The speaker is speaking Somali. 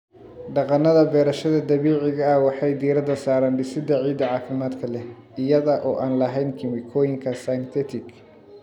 Dhaqannada beerashada dabiiciga ah waxay diiradda saaraan dhisidda ciidda caafimaadka leh iyada oo aan lahayn kiimikooyinka synthetic.